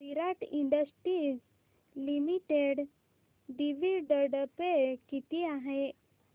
विराट industries limited dividend pay किती आहे